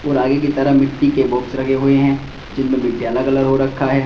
और आगे की तरह मिट्टी के बॉक्स लगे हुए हैं जिनमें मिट्टी अलग अलग हो रखा है।